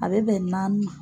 A bɛ bɛn naani ma.